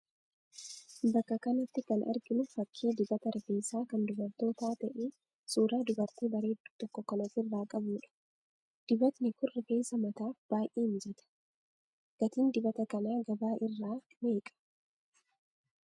Bakka kanatti kan arginu fakkii dibata rifeensaa kan dubartootaa ta'ee suuraa dubartii bareedduu tokko kan ofi irraa qabuudha. Dibatni kun rifeensa mataaf baay'ee mijata. Gatiin dibata kanaa gabaa irraa meeqa?